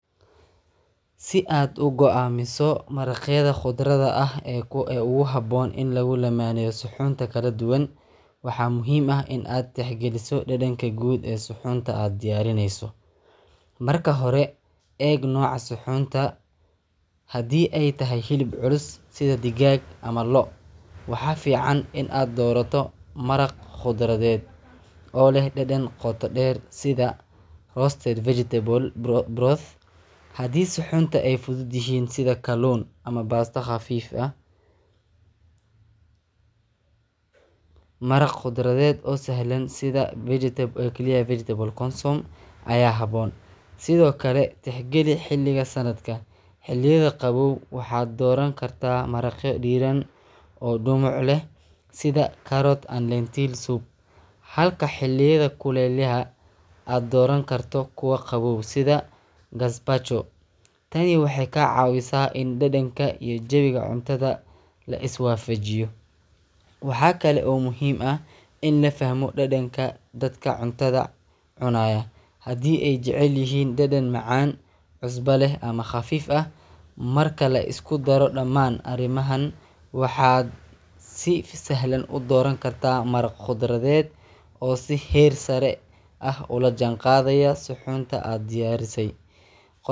Si aad u samayso ukun la karkariyey oo qumman, waa in aad raacdaa tillaabooyin fudud laakiin sax ah. Marka hore, dhig ukunta aad rabto in aad karkariso gudaha digsi yar, kadib ku shub biyo qabow ilaa ay ukunta gebi ahaanbi daboolmaan. Ku dar milix yar ama dhibic khall ah si ay ukunta u fududaato in la feero markii la dhammeeyo. Geli digsiga korkiisa dab, kuna shid dab dhexdhexaad ah ilaa biyaha bilaabaan karkarid xooggan. Markaas, dhig timer iyadoo ku xiran sida aad rabto ukuntaada lix daqiiqo haddii aad rabto soft-boiled, sagal daqiiqo haddii aad rabto medium-boiled, ama lawa iyo tawan daqiiqo haddii aad rabto hard-boiled. Marka waqtiga dhamaado, si degdeg ah u qaad ukunta oo geli biyo qabow ama baraf leh muddo dhowr daqiiqo ah tani waxay joojisaa karinta waxayna ka caawisaa in ukunta si sahlan loo feero. Ugu dambeyn, feer ukunta si taxaddar leh adigoo garaacaya si tartiib ah dusheeda, kadibna biyo qabow ku feer. Habkan waxa uu kuu suurtagelinayaa inaad hesho ukun leh yolk qumman, midna aan aad u engegnayn ama aan weli ceyrin.